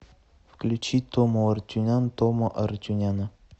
включи тому арутюнян тома арутюняна